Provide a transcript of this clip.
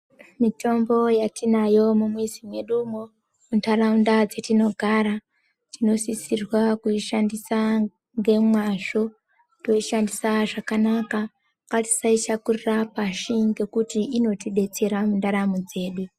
Mitombo yetinayo mumizi medumwo muntaraunda dzetinogara tinosisirwa kuishandisa ngemwazvo teishandisa zvakanaka. Ngatisaishakurira pashi ngekuti inotidetsera muntaramo dzedu.